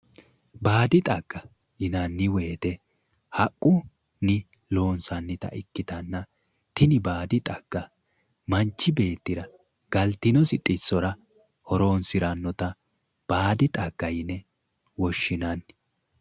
baadi xagga yinanni wote haqqunni loonsannita ikkitanna tini baadi xagga manchi beettira galtinosi xissora horonsirannota baadi xagga yine woshshinanni.